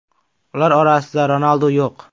Ular orasida Ronaldu yo‘q.